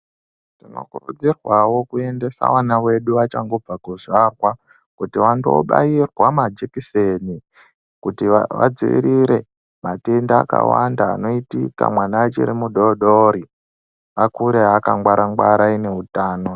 Tinokurudzirwa wo kuekuendesa vana vedu vanenge vachangobva mukusvarwa kuti vando bayirwa majekiseni kuti vadzivirire matenda akawanda anoitika mwana achiri mudodori akure aka ngwara angwara ane utano.